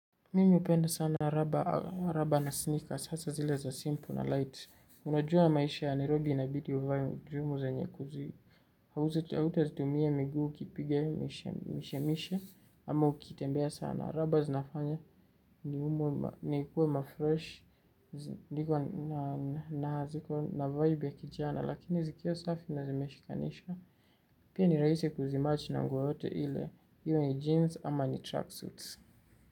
Mimi hupenda sana na rubber na sneakers, sasa zile za simple na light. Unajua maisha ya Nairobi inabidi uvae njumu zenye kuzi. Hauta tumia miguu kipige mishemishe, ama ukitembea sana. Rubbers zinafanya ni umu, nikuwe mafresh, zikuwa na vibe ya kijana, lakini zikiwa safi nazimeshikanisha. Pia nirahisi kuzimatch na nguo yoyote ile, iwe ni jeans ama ni tracksuits.